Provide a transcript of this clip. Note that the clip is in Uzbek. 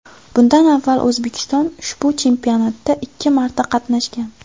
Bundan avval O‘zbekiston ushbu chempionatda ikki marta qatnashgan.